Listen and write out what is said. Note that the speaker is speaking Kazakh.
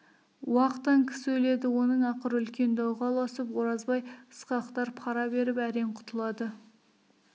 уақтан кісі өледі оның ақыры үлкен дауға ұласып оразбай ысқақтар пара беріп әрең құтылады